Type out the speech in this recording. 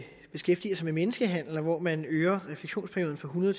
beskæftiger sig med menneskehandel og hvor man øger refleksionsperioden fra hundrede